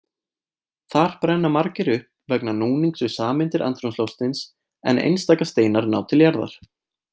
Þar brenna margir upp vegna núnings við sameindir andrúmsloftsins en einstaka steinar ná til jarðar.